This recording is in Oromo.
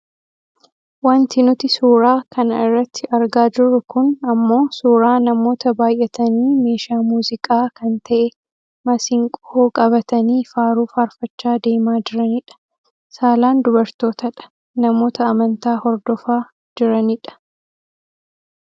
Wanti nuti suuraa kana irratti argaa jirru kun ammoo suuraa namoota baayyatanii meeshaa muuziqaa kan ta'e masiinqoo qabatanii faaruu faarfachaa deemaa jiranidha. Saalaan dubartootadha . Namoota amantaa hordofaa jirani dha.